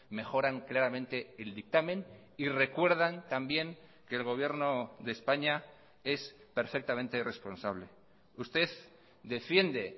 mejoran claramente el dictamen y recuerdan también que el gobierno de españa es perfectamente responsable usted defiende